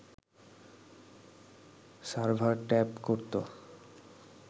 server tap করতো